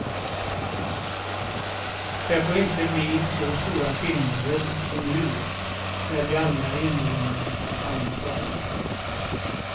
Det får inte bli så stora skillnader som nu, när vi alla är invånare i samma stad.